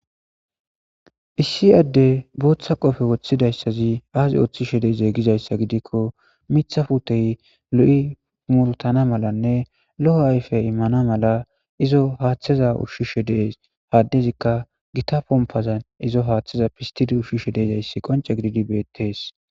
Issi adde booththa qofe woththidayssazi aazi oththi she dezeegizayssa gidikko mitha futey lo7i pumurtana malanne lo7o ayfe immana mala izo haaththeza ushshishe dee haddezikka gita pompazan izo haaththeza pistidi ushshishe deezayssi qonce gididi beettees